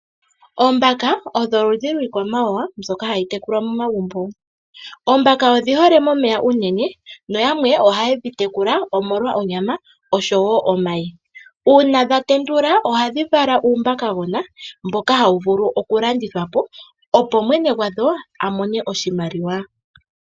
Oombaka odho oludhi lwiikwamawawa mbyoka hayi tekulwa mo magumbo. Oombaka odhi hole momeya unene na yamwe oha yedhi tekula omolwa onyama osho wo omayi. Uuna dha tendula ohadhi vala uumbakagona mboka hawu vulu oku landithwa po opo mwene gwadho a mone oshimaliwa.